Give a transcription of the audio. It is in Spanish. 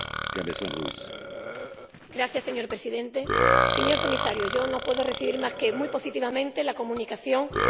Señor Presidente, señor Comisario, yo no puedo recibir más que muy positivamente la Comunicación que hoy estamos aquí debatiendo.